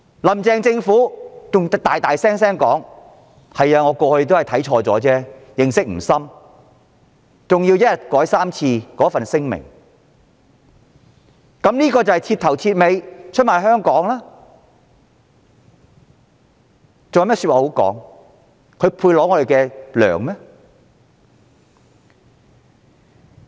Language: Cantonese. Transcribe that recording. "林鄭"政府還公然承認過往有錯，對《基本法》認識不深，更在一天內三度修改新聞稿，這是徹頭徹尾出賣香港的事實，她還有何辯解，還配支薪嗎？